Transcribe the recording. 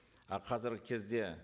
ы қазіргі кезде